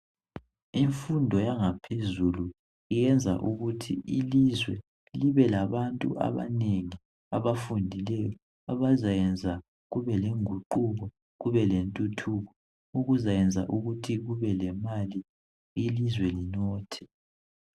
imfundo yangaphezulu iyenza ukuthi ilizwe libelabantu abanengi abafundileyo abazayenza kube lenguquko kube lenthuthuko okuzayenza ukuthi kube lemali ilizwe linothe